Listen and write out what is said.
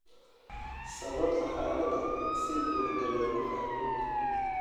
Sababta xaaladda si buuxda looma fahmin.